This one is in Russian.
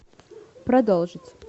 продолжить